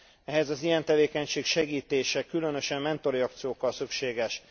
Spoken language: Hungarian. Ehhez az ilyen tevékenység segítése, különösen mentori akciókkal szükséges.